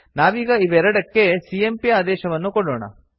ನಾವೀಗ ಇವೆರಡಕ್ಕೆ ಸಿಎಂಪಿ ಆದೇಶವನ್ನು ಕೊಡೋಣ